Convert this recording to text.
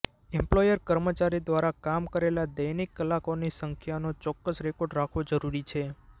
employer કર્મચારી દ્વારા કામ કરેલા દૈનિક કલાકોની સંખ્યાનો ચોક્કસ રેકોર્ડ રાખવો જરૂરી છે